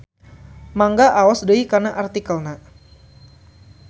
Mangga aos deui kana artikelna.